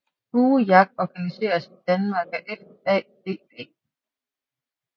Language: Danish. Buejagt organiseres i Danmark af FADB